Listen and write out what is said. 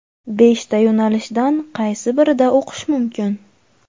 Beshta yo‘nalishdan qaysi birida o‘qish mumkin?.